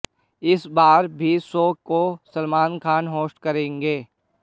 इस बार भी शो को सलमान खान होस्ट करेंगे